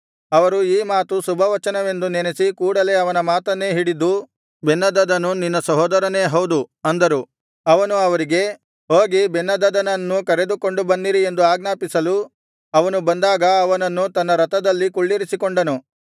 ಅವರು ಈ ಮಾತು ಶುಭವಚನವೆಂದು ನೆನಸಿ ಕೂಡಲೆ ಅವನ ಮಾತನ್ನೇ ಹಿಡಿದು ಬೆನ್ಹದದನು ನಿನ್ನ ಸಹೋದರನೇ ಹೌದು ಅಂದರು ಅವನು ಅವರಿಗೆ ಹೋಗಿ ಬೆನ್ಹದದನನ್ನು ಕರೆದುಕೊಂಡು ಬನ್ನಿರಿ ಎಂದು ಆಜ್ಞಾಪಿಸಲು ಅವನು ಬಂದಾಗ ಅವನನ್ನು ತನ್ನ ರಥದಲ್ಲಿ ಕುಳ್ಳಿರಿಸಿಕೊಂಡನು